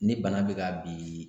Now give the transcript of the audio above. Ni bana bɛ ka bi